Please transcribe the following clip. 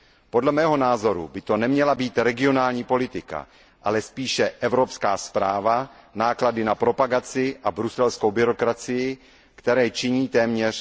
Podle mého názoru by to neměla být regionální politika, ale spíše evropská správa, náklady na propagaci a bruselskou byrokracii, které činí téměř